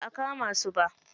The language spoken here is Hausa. Ba a kama su ba